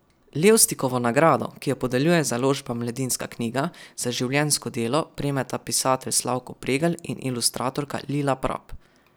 Levstikovo nagrado, ki jo podeljuje založba Mladinska knjiga, za življenjsko delo prejmeta pisatelj Slavko Pregl in ilustratorka Lila Prap.